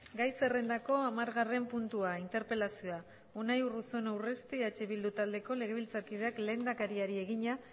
gai zerrendako hamargarren puntua interpelazioa unai urruzuno urresti eh bildu taldeko legebiltzarkideak lehendakariari egina